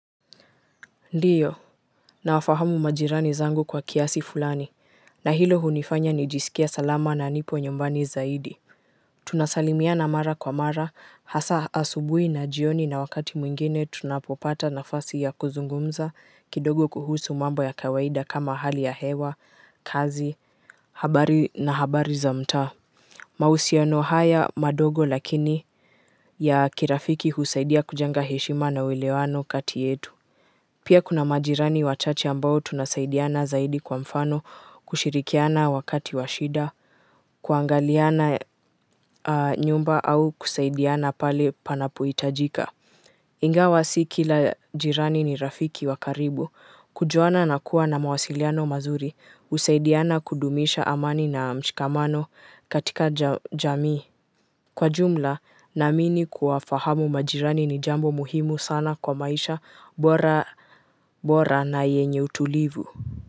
Ndiyo, nawafahamu majirani zangu kwa kiasi fulani, na hilo hunifanya nijisikie salama na nipo nyumbani zaidi. Tunasalimiana mara kwa mara, hasa asubuhi na jioni na wakati mwingine tunapopata nafasi ya kuzungumza kidogo kuhusu mambo ya kawaida kama hali ya hewa, kazi, habari na habari za mtaa. Mahusiano haya madogo lakini ya kirafiki husaidia kujenga heshima na uelewano kati yetu. Pia kuna majirani wachache ambao tunasaidiana zaidi kwa mfano kushirikiana wakati wa shida kuangaliana nyumba au kusaidiana pale panapohitajika. Ingawa si kila jirani ni rafiki wa karibu kujuana na kuwa na mawasiliano mazuri husaidiana kudumisha amani na mshikamano katika jamii. Kwa jumla naamini kuwafahamu majirani ni jambo muhimu sana kwa maisha bora bora na yenye utulivu.